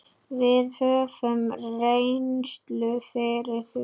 Við höfum reynslu fyrir því.